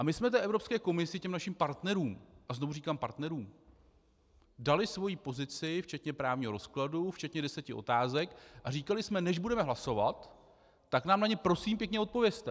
A my jsme té Evropské komisi, těm našim partnerům - a znovu říkám partnerům - dali svoji pozici včetně právního rozkladu, včetně deseti otázek a říkali jsme: než budeme hlasovat, tak nám na ně prosím pěkně odpovězte.